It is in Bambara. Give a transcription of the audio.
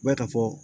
Bɛ ka fɔ